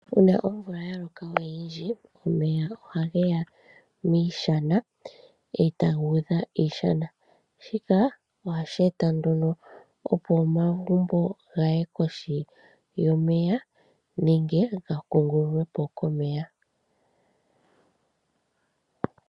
Uuna omvula ya loka oyindji omeya ohage ya miishana e ta ga udha iishana. Shika ohashi eta nduno opo omagumbo ga ye kohi yomeya nenge ga kuungululwe po komeya.